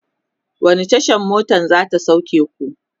wani Tasha motan zata sauke ku?